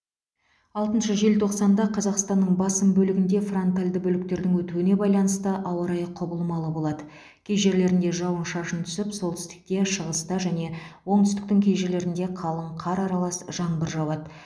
алтыншы желтоқсанда қазақстанның басым бөлігінде фронтальді бөліктердің өтуіне байланысты ауа райы құбылмалы болады кей жерлерінде жауын шашын түсіп солтүстікте шығыста және оңтүстіктің кей жерлерінде қалық қар аралас жаңбыр жауады